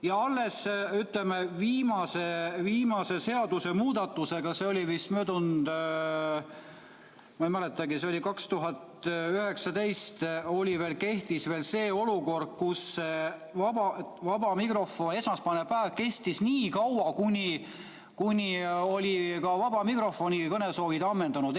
Ja kuni viimase seadusemuudatuseni, see oli vist möödunud aastal või ma ei mäletagi, võib-olla 2019. aastal, kehtis olukord, kus esmaspäevane päev kestis nii kaua, kuni olid ka vaba mikrofoni kõnesoovid ammendunud.